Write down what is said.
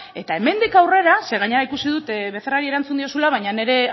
eta hemendik aurrera zeren gainera ikusi dut becerrari erantzun diozula baina